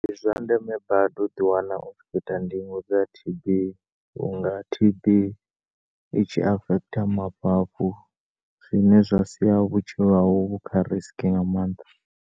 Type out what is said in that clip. Ndi zwa ndeme badi u ḓiwana u khoita ndingo dza T_B vhu nga T_B i tshi afecta mafhafhu zwine zwa sia vhutshilo hau vhu kha risk nga maanḓa.